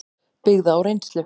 byggða á reynslu.